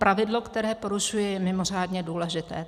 Pravidlo, které porušuje, je mimořádně důležité.